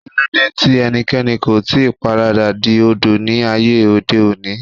Kíló dé tí ẹnikẹ́ni kò ì tí paradà di Odò ní ayé òde òní?